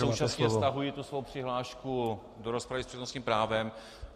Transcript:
Současně stahuji tu svou přihlášku do rozpravy s přednostním právem.